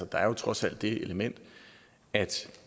der er jo trods alt det element at